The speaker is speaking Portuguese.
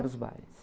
Eram os bailes.